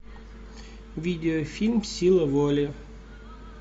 видеофильм сила воли